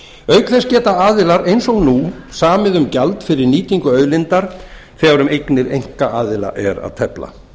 þess geta aðilar eins og nú samið um gjald fyrir nýtingu auðlindar þegar um eignir einkaaðila er að tefla